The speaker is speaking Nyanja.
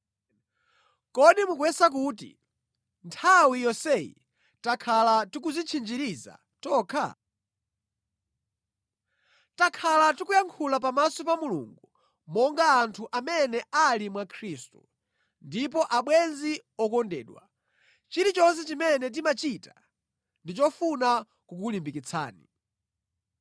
Kodi mukuyesa kuti nthawi yonseyi takhala tikudzitchinjiriza tokha? Takhala tikuyankhula pamaso pa Mulungu monga anthu amene ali mwa Khristu; ndipo abwenzi okondedwa, chilichonse chimene timachita ndi chofuna kukulimbikitsani.